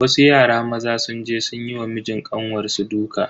Wasu yara maza sun je sun yi wa mijin kanwar su duka.